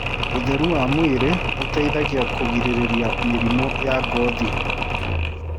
Ũtherũ wa mwĩrĩ ũteĩthagĩa kũrĩgĩrĩrĩa mĩrĩmũ ya ngothĩ